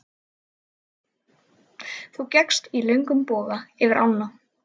Þú gekkst í löngum boga yfir ána.